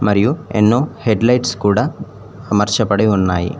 మరియు ఎన్నో headlights కూడా అమర్చబడి ఉన్నాయి.